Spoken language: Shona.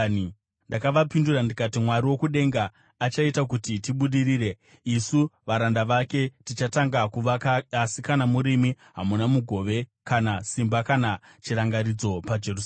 Ndakavapindura ndikati, “Mwari wokudenga achaita kuti tibudirire. Isu varanda vake tichatanga kuvaka asi kana murimi, hamuna mugove kana simba kana chirangaridzo paJerusarema.”